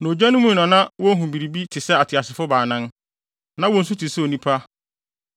Na ogya no mu na na wohu biribi te sɛ ateasefo baanan. Na wɔn su te sɛ onipa,